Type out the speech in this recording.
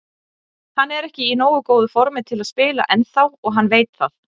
Hann er ekki í nógu góðu formi til að spila ennþá og hann veit það.